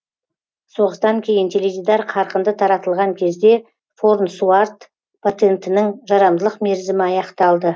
соғыстан кейін теледидар қарқынды таратылған кезде фарнсуорт патентінің жарамдылық мерзімі аяқталды